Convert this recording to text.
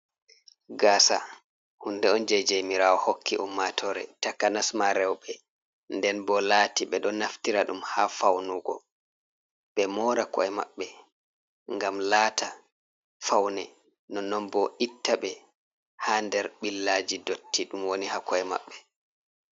Gasa hunɗe on je jemirawo hokki ummatore takanas ma rewɓe nden bo laati be don naftira ɗum ha faunugo ɓe mora ko'e maɓɓe ngam lata faune no nonbo itta ɓe ha nder billaji dotti ɗum woni ha ko’e maɓɓe.